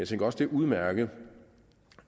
tænker også det er udmærket